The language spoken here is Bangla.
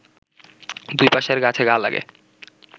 দুই পাশের গাছে গা লাগে